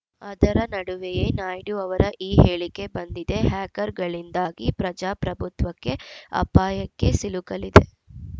ಅದರ ನಡುವೆಯೇ ನಾಯ್ಡು ಅವರ ಈ ಹೇಳಿಕೆ ಬಂದಿದೆ ಹ್ಯಾಕರ್‌ಗಳಿಂದಾಗಿ ಪ್ರಜಾಪ್ರಭುತ್ವಕ್ಕೆ ಅಪಾಯಕ್ಕೆ ಸಿಲುಕಲಿದೆ